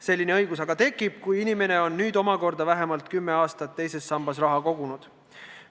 Selline õigus aga tekib alles siis, kui inimene on nüüd omakorda vähemalt kümme aastat teise sambasse raha kogunud.